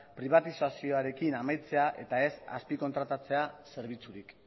pribatizazioarekin amaitzea eta ez azpikontratatzea zerbitzurik